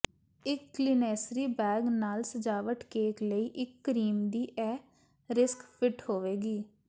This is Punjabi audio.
ਇੱਕ ਕਲੀਨੈਸਰੀ ਬੈਗ ਨਾਲ ਸਜਾਵਟ ਕੇਕ ਲਈ ਇੱਕ ਕਰੀਮ ਦੀ ਇਹ ਰਿਸਕ ਫਿਟ ਹੋਵੇਗੀ